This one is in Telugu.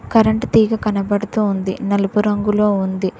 కరెంట్ తీగ కనబడుతూ ఉంది నలుపు రంగులో ఉంది.